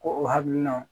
Ko o hakilina